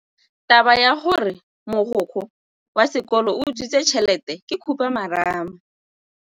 Taba ya gore mogokgo wa sekolo o utswitse tšhelete ke khupamarama.